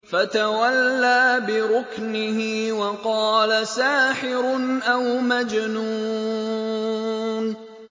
فَتَوَلَّىٰ بِرُكْنِهِ وَقَالَ سَاحِرٌ أَوْ مَجْنُونٌ